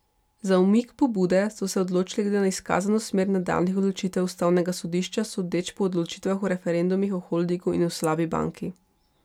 Za umik pobude so se odločili glede na izkazano smer nadaljnjih odločitev ustavnega sodišča sodeč po odločitvah o referendumih o holdingu in o slabi banki.